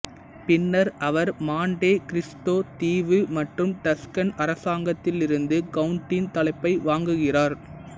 பின்னர் அவர் Monte Cristo தீவு மற்றும் டஸ்கன் அரசாங்கத்திலிருந்து கவுன்ட்டின் தலைப்பை வாங்குகிறார்